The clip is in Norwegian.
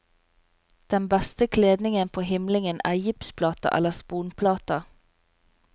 Den beste kledningen på himlingen er gipsplater eller sponplater.